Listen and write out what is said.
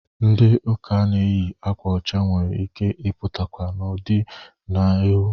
Ndị ụka na-eyi akwa ọcha nwere ike i pụtakwa n'ọdị na'ihụ.